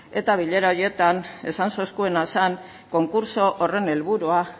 eta bilera horietan esan zeuzkuena zan konkurtso horren helburua